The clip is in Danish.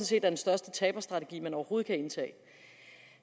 set er den største taberstrategi man overhovedet kan indtage